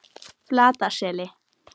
Flataseli